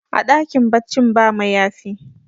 a dakin baccin ba mayafi